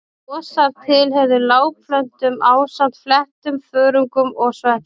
Mosar tilheyrðu lágplöntum ásamt fléttum, þörungum og sveppum.